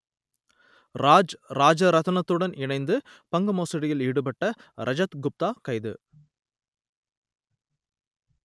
ராஜ் ராஜரத்தினத்துடன் இணைந்து பங்கு மோசடியில் ஈடுபட்ட ரஜத் குப்தா கைது